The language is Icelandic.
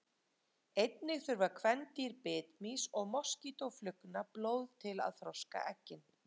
einnig þurfa kvendýr bitmýs og moskítóflugna blóð til að þroska eggin